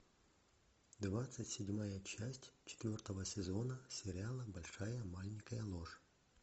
двадцать седьмая часть четвертого сезона сериала большая маленькая ложь